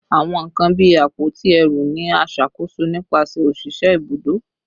Awọn nkan bii awọn apoti ẹru ni a ṣakoso nipasẹ oṣiṣẹ ibudo